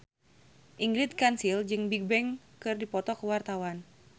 Ingrid Kansil jeung Bigbang keur dipoto ku wartawan